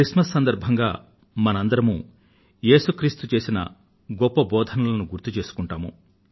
Christmas సందర్భంగా మనమంతా ఏసు క్రీస్తు చేసిన గొప్ప బోధనలను గుర్తుచేసుకుందాము